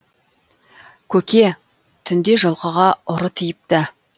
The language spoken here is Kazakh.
көке түнде жылқыға ұры тиіпті